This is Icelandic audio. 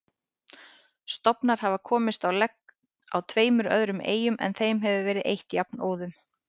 Stofnar hafa komist á legg á tveimur öðrum eyjum en þeim hefur verið eytt jafnóðum.